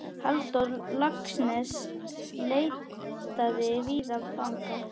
Halldór Laxness leitaði víða fanga.